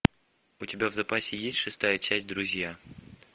у тебя в запасе есть шестая часть друзья